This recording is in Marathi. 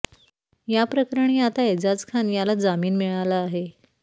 या प्रकरणी आता एजाझ खान याला जमीन मिळाला आहे